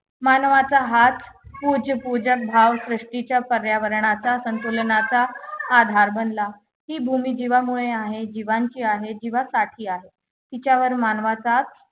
मानवाचा हाच पूज्य पूजक भाव सृष्टीच्या पर्यावरणाचा संतुलनाचा आधार बनला ही भूमी जिवामुळे आहे जीवांची आहे जीवासाठी आहे तिच्यावर मानवाचाच